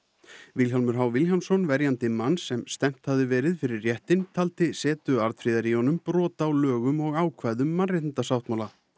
Vilhjálmur h Vilhjálmsson verjandi manns sem stefnt hafði verið fyrir réttinn taldi setu Arnfríðar í honum brot á lögum og ákvæðum mannréttindasáttmála